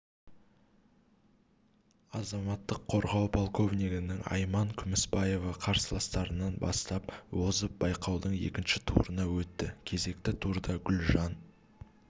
азаматтық қорғау подполковнигі айман күміспаева қарсыластарынан басып озып байқаудың екінші турына өтті кезекті турда гүлжан